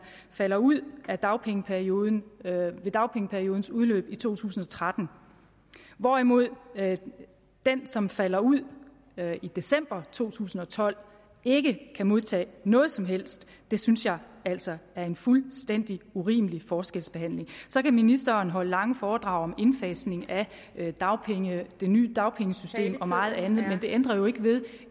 falder ud af dagpengeperioden ved dagpengeperiodens udløb i to tusind og tretten hvorimod den som falder ud i december to tusind og tolv ikke kan modtage noget som helst det synes jeg altså er en fuldstændig urimelig forskelsbehandling så kan ministeren holde lange foredrag om indfasning af det nye dagpengesystem men det ændrer ikke ved